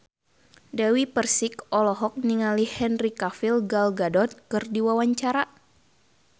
Dewi Persik olohok ningali Henry Cavill Gal Gadot keur diwawancara